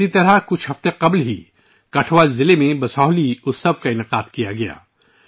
اسی طرح کٹھوعہ ضلع میں چند ہفتے قبل ' بسوہلی اتسو ' کا انعقاد کیا گیا تھا